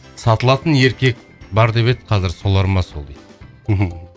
сатылатын еркек бар деп еді қазір солар ма сол дейді